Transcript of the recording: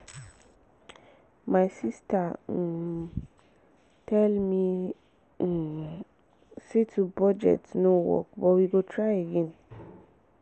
my sister um tell me um say to budget no work but we go try again